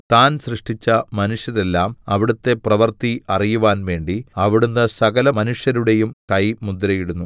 താൻ സൃഷ്ടിച്ച മനുഷ്യരെല്ലാം അവിടുത്തെ പ്രവൃത്തി അറിയുവാൻ വേണ്ടി അവിടുന്ന് സകലമനുഷ്യരുടെയും കൈ മുദ്രയിടുന്നു